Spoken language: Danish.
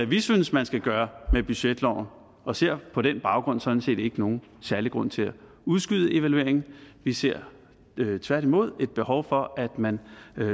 vi synes man skal gøre med budgetloven og ser på den baggrund sådan set ikke nogen særlig grund til at udskyde evalueringen vi ser tværtimod et behov for at man